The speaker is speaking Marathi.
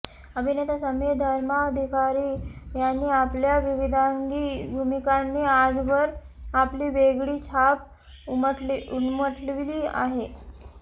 अभिनेता समीर धर्माधिकारी यांनी आपल्या विविधांगी भूमिकांनी आजवर आपली वेगळी छाप उमटवली आहे